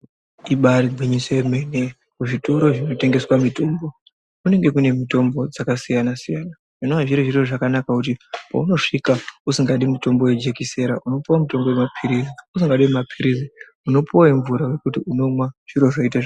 Ibari gwinyiso yemene kuzvitoro zvinotengeswa mitombo kunenge kune mitombo dzakasiyana -siyana. Zvinova zviri zviri zvakanaka kuti paunosvika usingadi mutombo vejekisera unopuva mutombo vemaphirizi. Usingadi vemaphirizi unopuva vemvura vokuti unomwa zviro zvoita zvakanaka.